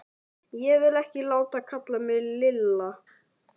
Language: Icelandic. Ég vil ekki láta kalla mig Lilla!